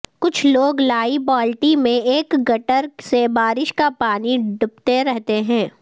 کچھ لوگ لائی بالٹی میں ایک گٹر سے بارش کا پانی ڈپڑتے ہیں